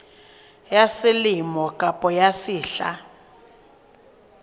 ya selemo kapa ya sehla